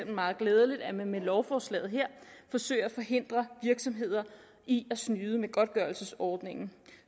meget glædeligt at man med lovforslaget her forsøger at forhindre virksomheder i at snyde med godtgørelsesordningen